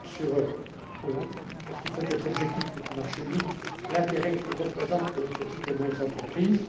Schwab parce qu'il faut être objectif avec le marché unique, l'intérêt qu'il représente pour les petites et moyennes entreprises.